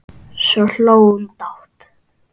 Svo hló hún dátt.